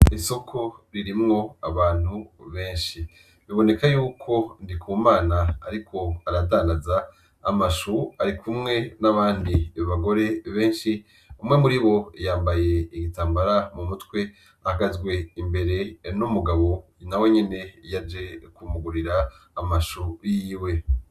Isoko ririmwo abantu benshi, biboneka yuko Ndikumana ariko aradandaza amashu, arikumwe n'abandi bagore benshi, umwe muri bo yambaye igitambara mumutwe ahagazwe imbere n'umugabo nawe nyene yaje kumugurira amashu yiwe.